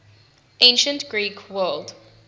ancient greek world